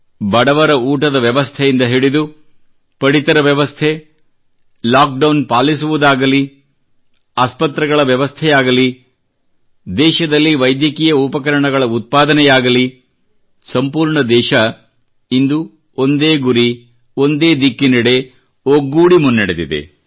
ಬಡವರ ಊಟದ ವ್ಯವಸ್ಥೆಯಿಂದ ಹಿಡಿದು ಪಡಿತರ ವ್ಯವಸ್ಥೆ ಲಾಕ್ ಡೌನ್ ಪಾಲಿಸುವುದಾಗಲಿ ಆಸ್ಪತ್ರೆಗಳ ವ್ಯವಸ್ಥೆಯಾಗಲಿ ದೇಶದಲ್ಲಿ ವೈದ್ಯಕೀಯ ಉಪಕರಣಗಳ ಉತ್ಪಾದನೆಯಾಗಲಿ ಸಂಪೂರ್ಣ ದೇಶ ಇಂದು ಒಂದೇ ಗುರಿ ಒಂದೇ ದಿಕ್ಕಿನೆಡೆ ಒಗ್ಗೂಡಿ ಮುನ್ನಡೆದಿದೆ